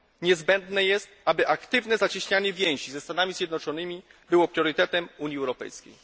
Niezbędne jest, aby aktywne zacieśnianie więzi ze Stanami Zjednoczonymi było priorytetem Unii Europejskiej.